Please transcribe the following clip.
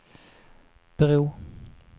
bro